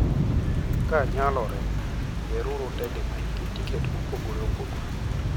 Ka nyalore, yieruru ndege ma nigi tiketi mopogore opogore.